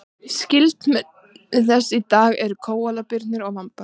skyldmenni þess í dag eru kóalabirnir og vambar